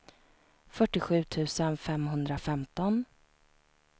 fyrtiosju tusen femhundrafemton